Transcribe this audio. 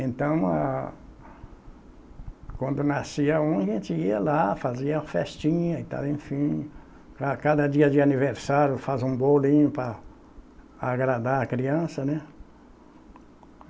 Então, a quando nascia um, a gente ia lá, fazia festinha e tal, enfim. A cada dia de aniversário faz um bolinho para agradar a criança, né?